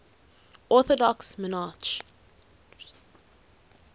orthodox monarchs